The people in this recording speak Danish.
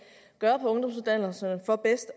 gøre på ungdomsuddannelserne for bedst